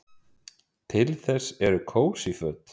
Til þess eru kósí föt.